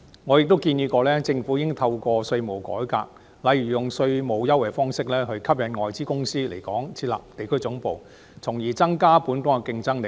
我亦曾建議，政府應透過稅務改革，例如以稅務優惠吸引外資公司來港設立地區總部，從而增加本港的競爭力。